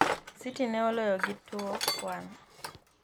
Siti ne oloyo gi 2-1.